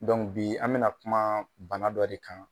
bi an bɛna kuma bana dɔ de kan.